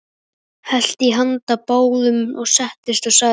Hellti í handa báðum, settist og sagði: